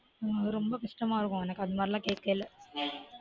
ரொம்ப கஷ்டமா இருக்கும் எனக்கு அது மாதிரியெல்லாம் கேக்கையில